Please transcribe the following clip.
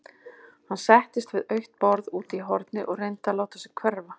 Hann settist við autt borð úti í horni og reyndi að láta sig hverfa.